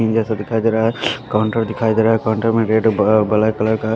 ये सब दिखाई दे रहा है काउंटर दिखाई दे रहा है काउंटर में गेट ब अ ब्लैक कलर का --